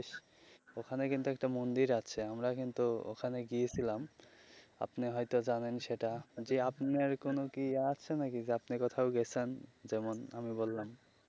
ওখানে কিন্তু একটা মন্দির আছে আমরা কিন্তু ওখানে গিয়েসিলাম আপনি হয় তো জানেন সেটা জী আপনার কোনো কি আছে নাকি যে আপনি কোথাও গেছেন যেমন আমি বললাম.